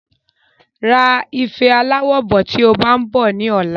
Ra ife aláwo bọ̀ tí o bá ń bọ̀ ní ọ̀la